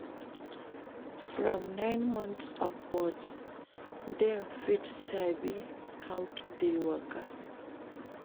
From nine months upwards dem fit sabi how to de waka